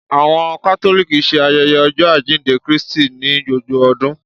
Awọn Catholic ṣe ayẹyẹ Ọjọ ajínde Krístí ni gbógbó ọdún